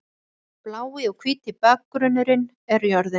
Blái og hvíti bakgrunnurinn er jörðin.